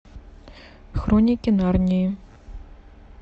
хроники нарнии